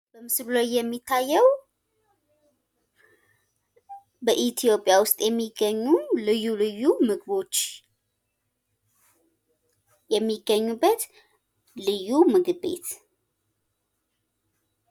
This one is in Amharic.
ምስሉ ላይ የሚታየው በኢትዮጵያ ውስጥ የሚገኙ ልዩ ልዩ ምግቦች የሚገኙበት ልዩ ምግብ ቤት።